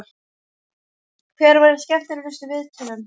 Hver verður skemmtilegastur í viðtölum?